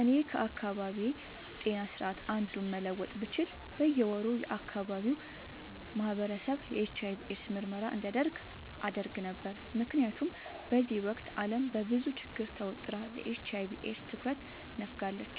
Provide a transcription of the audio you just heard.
እኔ ከአካባቢዬ ጤና ስርዓት አንዱን መለወጥ ብችል በየ ወሩ የአካባቢው ማህበረሰብ የኤች/አይ/ቪ ኤድስ ምርመራ እንዲያደርግ አደረግ ነበር። ምክንያቱም በዚህ ወቅት አለም በብዙ ችግር ተወጥራ ለኤች/አይ/ቪ ኤድስ ትኩረት ነፋጋለች።